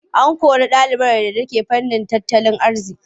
An kori ɗalibar da take nazarin tattalin arziƙi.